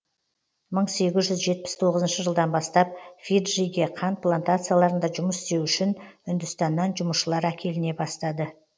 мың сегіз жүз жетпіс тоғызыншы жылдан бастап фиджиге қант плантацияларында жұмыс істеу үшін үндістаннан жұмысшылар әкеліне бастады